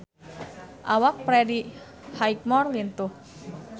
Awak Freddie Highmore lintuh